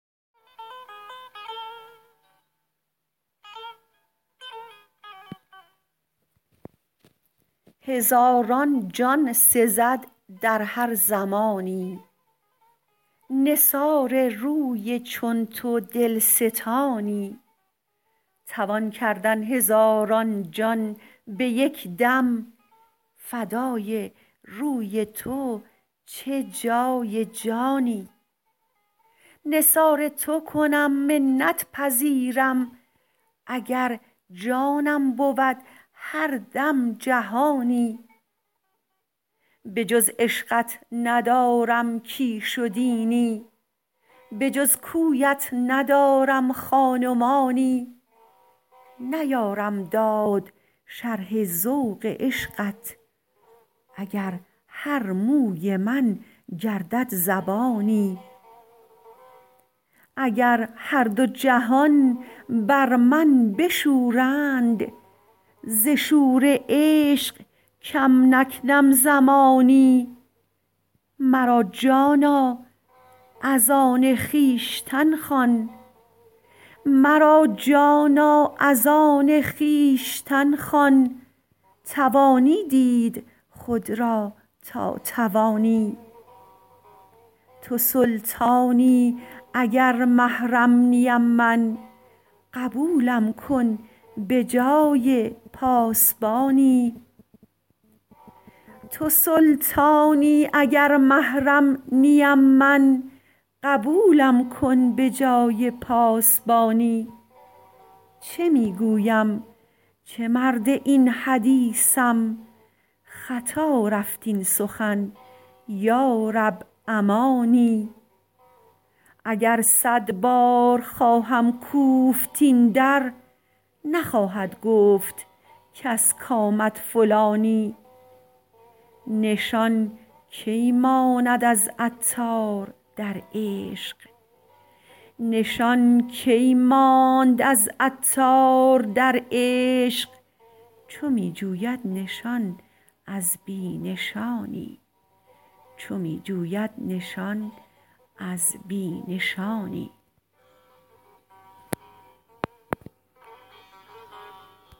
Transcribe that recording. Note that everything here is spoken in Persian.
هزاران جان سزد در هر زمانی نثار روی چون تو دلستانی توان کردن هزاران جان به یک دم فدای روی تو چه جای جانی نثار تو کنم منت پذیرم اگر جانم بود هر دم جهانی بجز عشقت ندارم کیش و دینی بجز کویت ندارم خان و مانی نیارم داد شرح ذوق عشقت اگر هر موی من گردد زبانی اگر هر دو جهان بر من بشورند ز شور عشق کم نکنم زمانی مرا جانا از آن خویشتن خوان توانی دید خود را تا توانی تو سلطانی اگر محرم نیم من قبولم کن به جای پاسپانی چه می گویم چه مرد این حدیثم خطار رفت این سخن یارب امانی اگر صد بار خواهم کوفت این در نخواهد گفت کس کامد فلانی نشان کی ماند از عطار در عشق چو می جوید نشان از بی نشانی